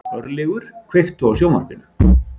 Örlygur, kveiktu á sjónvarpinu.